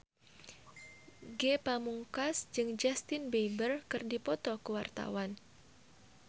Ge Pamungkas jeung Justin Beiber keur dipoto ku wartawan